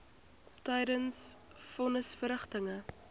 tydens von nisverrigtinge